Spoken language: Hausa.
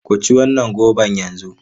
Ku ci wannan goban yanzu!